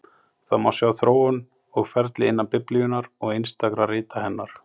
Það má sjá þróun og ferli innan Biblíunnar og einstakra rita hennar.